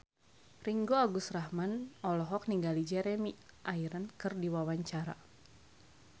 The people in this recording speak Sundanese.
Ringgo Agus Rahman olohok ningali Jeremy Irons keur diwawancara